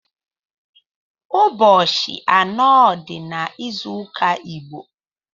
Ụbọchi anọ di n’ịzụụka Igbo